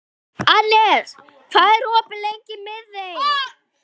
Annes, hvað er opið lengi í Miðeind?